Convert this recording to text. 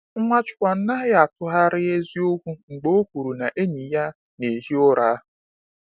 Nwachukwu anaghị atụgharị eziokwu mgbe o kwuru na enyi ya na-ehi ụra.